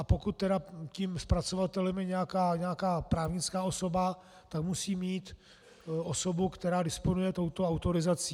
A pokud tím zpracovatelem je nějaká právnická osoba, tak musí mít osobu, která disponuje touto autorizací.